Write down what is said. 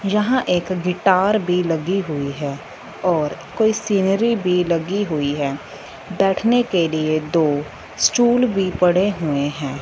यहां एक गिटार भी लगी हुईं हैं और कोई सीनरी भी लगी हुईं हैं बैठने के लिए दो स्टॉल भी पड़े हुएं हैं।